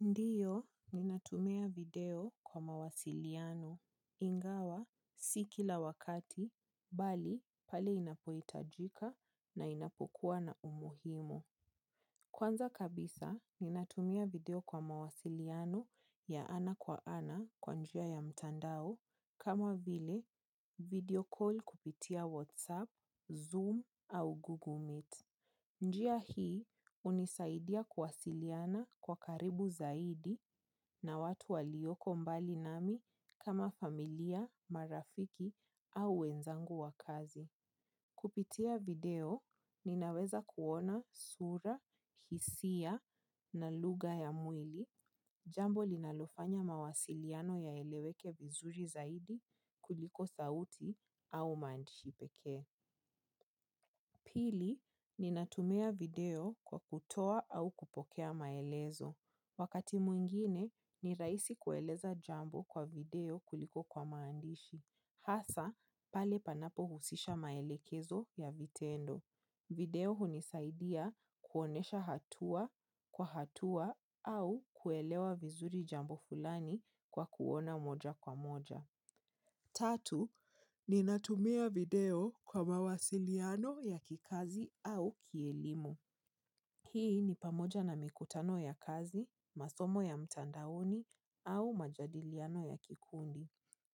Ndiyo, ninatumia video kwa mawasiliano, ingawa si kila wakati, bali pale inapohitajika na inapokuwa na umuhimu. Kwanza kabisa natumia video kwa mawasiliano ya ana kwa ana kwa njia ya mtandao kama vile video call kupitia WhatsApp, Zoom au Google Meet. Njia hii hunisaidia kuwasiliana kwa karibu zaidi na watu walioko mbali nami kama familia, marafiki au wenzangu wa kazi. Kupitia video, ninaweza kuona sura, hisia na lugha ya mwili jambo linalofanya mawasiliano yaeleweke vizuri zaidi kuliko sauti au maandishi peke. Pili, ninatumia video kwa kutoa au kupokea maelezo. Wakati mwingine, ni rahisi kueleza jambo kwa video kuliko kwa maandishi. Hasaa, pale panapo husisha maelekezo ya vitendo. Video hunisaidia kuonesha hatua kwa hatua au kuelewa vizuri jambo fulani kwa kuona moja kwa moja. Tatu, ninatumia video kwa mawasiliano ya kikazi au kielimu. Hii ni pamoja na mikutano ya kazi, masomo ya mtandaoni au majadiliano ya kikundi.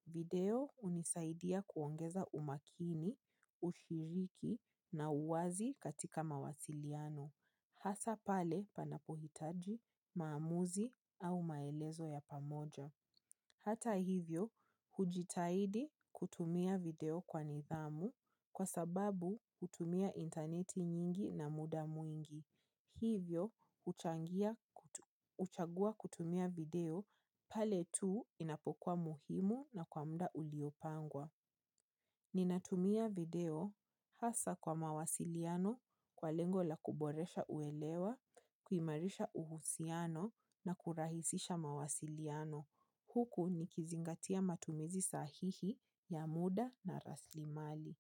Video hunisaidia kuongeza umakini, ushiriki na uwazi katika mawasiliano. Hasa pale panapohitaji, maamuzi au maelezo ya pamoja. Hata hivyo, hujitaidi kutumia video kwa nithamu kwa sababu kutumia interneti nyingi na muda mwingi. Hivyo huchagua kutumia video pale tu inapokuwa muhimu na kwa muda uliopangwa. Ninatumia video hasa kwa mawasiliano kwa lengo la kuboresha uelewa, kuimarisha uhusiano na kurahisisha mawasiliano. Huku nikizingatia matumizi sahihi ya muda na raslimali.